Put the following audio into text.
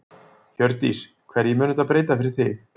Hjördís: Hverju mun þetta breyta fyrir þig?